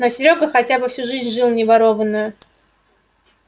но серёга хотя бы свою жизнь жил не ворованную